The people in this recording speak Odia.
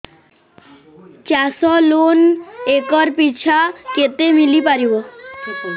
ଚାଷ ଲୋନ୍ ଏକର୍ ପିଛା କେତେ ମିଳି ପାରିବ